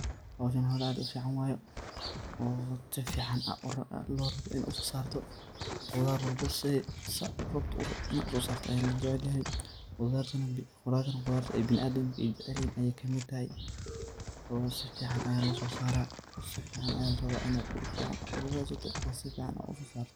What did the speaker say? Bahasan bahal aad u fican waye , oo si fican lo raboo saad urabto inaad uso sarta ayaa lajecel yahay, khudartana khudarta biniadamka ay jecel yihin ayey kamid tahay oo si fican ayaa lososaraa , marka si fican ayaa larabaa inaad dhul aad u radsato oo si fican aad uso sarto.